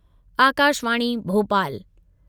Akashvani Bhopal